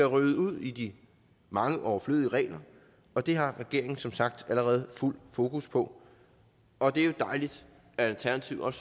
ryddet ud i de mange overflødige regler og det har regeringen som sagt allerede fuld fokus på og det er jo dejligt at alternativet